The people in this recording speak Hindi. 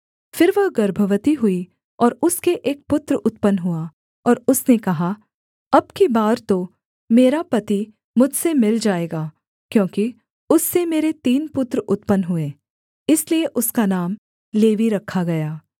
फिर वह गर्भवती हुई और उसके एक पुत्र उत्पन्न हुआ और उसने कहा अब की बार तो मेरा पति मुझसे मिल जाएगा क्योंकि उससे मेरे तीन पुत्र उत्पन्न हुए इसलिए उसका नाम लेवी रखा गया